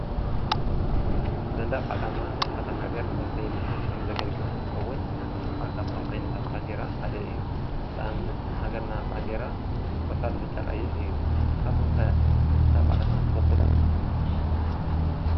ሰንደቅ ዓላማ ናይ ሓደ ሃገር መፍለዪ ምልክት ኮይኑ ዘገልግል እንትከዉን እዙይ ክኣ ካብቶም ዓይነታት ባንዴራ ሓደ እዪ ንአብነት ናይ ሃገርና ባንዴራ ቆፃል ብጫ ቀይሕ እዪ ንስኹምከ ሰንደቅ ዓላማ ትፈልጡ ዶ?